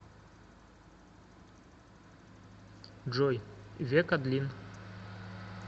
джой век адлин